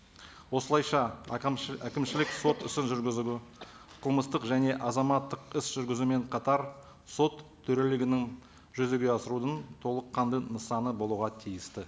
осылайша әкімшілік сот ісін жүргізуге қылмыстық және азаматтық іс жүргізумен қатар сот төрелігінің жүзеге асырудың толыққанды нысаны болуға тиісті